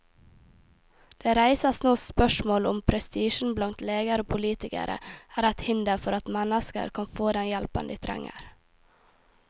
Det reises nå spørsmål om prestisjen blant leger og politikere er et hinder for at mennesker kan få den hjelpen de trenger.